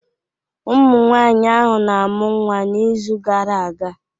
Ụmụnwaanyị ahụ na-amụ nwa n'izu gara aga